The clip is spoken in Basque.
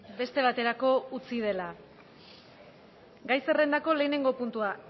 beste baterako utzi dela gai zerrendako lehenengo puntua